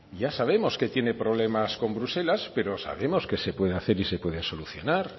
ya sabemos que tiene problemas con bruselas pero sabemos que se pueden hacer y se pueden solucionar